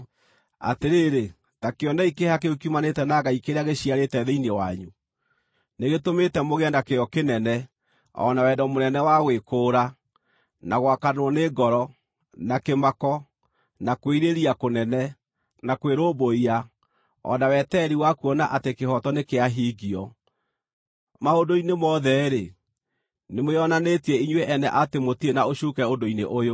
Atĩrĩrĩ, ta kĩonei kĩeha kĩu kiumanĩte na Ngai kĩrĩa gĩciarĩte thĩinĩ wanyu: nĩgĩtũmĩte mũgĩe na kĩyo kĩnene, o na wendo mũnene wa gwĩkũũra, na gwakanwo nĩ ngoro, na kĩmako, na kwĩrirĩria kũnene, na kwĩrũmbũiya, o na wetereri wa kuona atĩ kĩhooto nĩkĩahingio. Maũndũ-inĩ mothe-rĩ, nĩmwĩonanĩtie inyuĩ ene atĩ mũtirĩ na ũcuuke ũndũ-inĩ ũyũ.